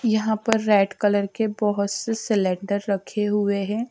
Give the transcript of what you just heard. यहां पर red colour के बहुत से सिलेंडर रखे हुए हैं।